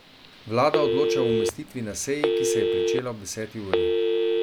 Vlada odloča o umestitvi na seji, ki se je pričela ob deseti uri.